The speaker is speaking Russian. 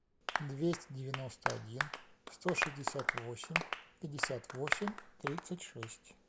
двести девяносто один сто шестьдесят восемь пятьдесят восемь тридцать шесть